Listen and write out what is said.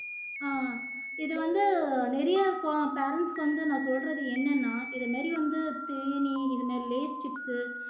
ஆஹ் இது வந்து நிறைய கு parents க்கு வந்து நான் சொல்றது என்னன்னா இது மாதிரி வந்து தீனி இது மாதிரி lays chips உ